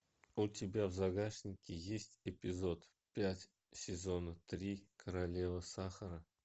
у тебя в загашнике есть эпизод пять сезона три королева сахара